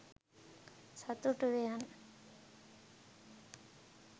සතුටු වෙයං.